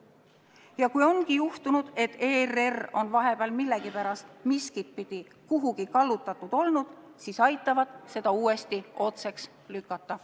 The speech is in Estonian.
Ja kui ongi juhtunud, et ERR on vahepeal millegipärast miskitpidi kuhugi kallutatud olnud, siis aitavad nad seda uuesti otseks lükata.